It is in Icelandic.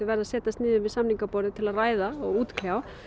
verða að setjast niður við samningaborðið til að ræða og útkljá